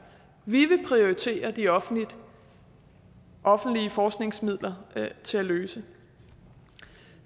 vi vil prioritere de offentlige offentlige forskningsmidler til at løse